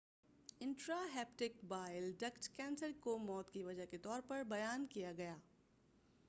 intra hepatic bile duct cancer کو موت کی وجہ کے طور پر بیان کیا گیا